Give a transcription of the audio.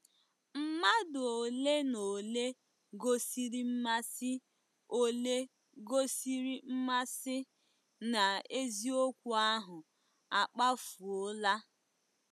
Mmadụ ole na ole gosiri mmasị ole gosiri mmasị n'eziokwu ahụ akpafuola.